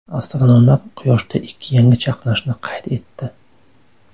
Astronomlar Quyoshda ikki yangi chaqnashni qayd etdi.